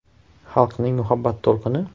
Xalqning muhabbat to‘lqini?